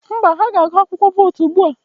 Mba, ha ga-agụ akwụkwọ vootu ugbu a.